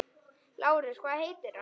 LÁRUS: Hvað heitir hann?